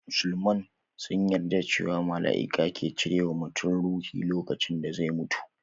Musulman sun yarda cewa malaiki ke cire wa mutum ruhi lokacin da zai mutu